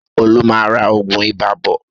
Ṣé Olú máa ra oògùn ibà bọ̀?